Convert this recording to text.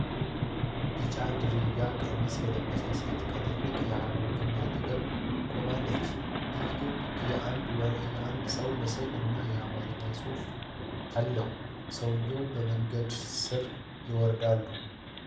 ቢጫ ድሪያ ቀሚስ የለበሰች ሴት ከትልቁ የሃረር ግንብ አጠገብ ቆማለች። ይህ ግንብ የአንድ ሰው ምስል እና የአማርኛ ጽሑፍ አለው። ሰዎች በመንገዱ ስር ይራመዳሉ።